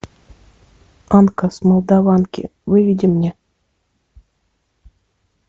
анка с молдаванки выведи мне